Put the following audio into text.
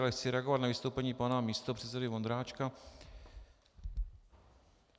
Ale chci reagovat na vystoupení pana místopředsedy Vondráčka.